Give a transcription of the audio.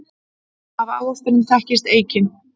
Af ávextinum þekkist eikin.